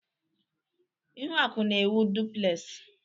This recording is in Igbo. Ihuaku na-ewu duplez.